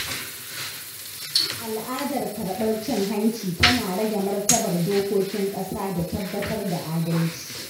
Al’adar karɓar cin hanci tana rage martabar dokokin ƙasa da tabbatar da adalci.